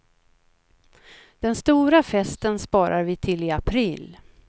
Den stora festen sparar vi till i april.